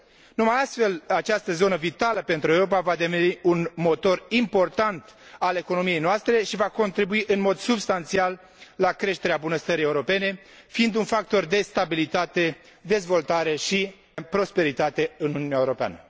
Numai astfel această zonă vitală pentru Europa va deveni un motor important al economiei noastre și va contribui în mod substanțial la creșterea bunăstării europene, fiind un factor de stabilitate, dezvoltare și prosperitate în Uniunea Europeană.